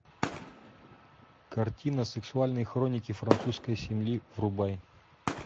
картина сексуальные хроники французской семьи врубай